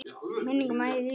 Minning Maju lifir.